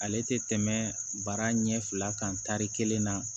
Ale tɛ tɛmɛ baara ɲɛ fila kan tari kelen na